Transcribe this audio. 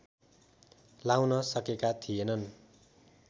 लाउन सकेका थिएनन्